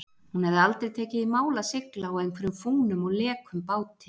Hún hefði aldrei tekið í mál að sigla á einhverjum fúnum og lekum báti.